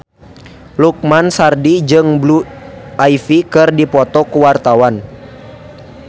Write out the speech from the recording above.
Lukman Sardi jeung Blue Ivy keur dipoto ku wartawan